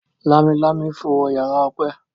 Lámilámi fo wọ yàrá Ope.